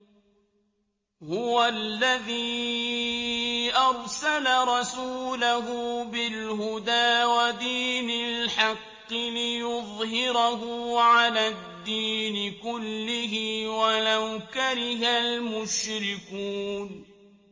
هُوَ الَّذِي أَرْسَلَ رَسُولَهُ بِالْهُدَىٰ وَدِينِ الْحَقِّ لِيُظْهِرَهُ عَلَى الدِّينِ كُلِّهِ وَلَوْ كَرِهَ الْمُشْرِكُونَ